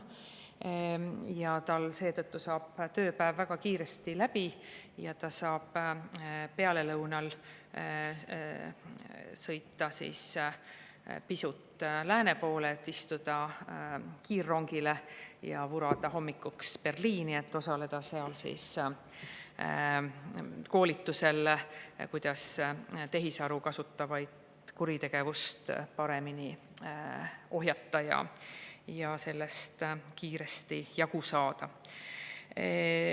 Ja sellel kohtunikul seetõttu saab tööpäev väga kiiresti läbi ja ta saab pealelõunal sõita pisut lääne poole, et istuda kiirrongile ja vurada hommikuks Berliini, et osaleda seal koolitusel, kuidas tehisaru kasutavat kuritegevust paremini ohjata ja sellest kiiresti jagu saada.